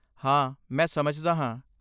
ਹਾਂ, ਮੈਂ ਸਮਝਦਾ ਹਾਂ।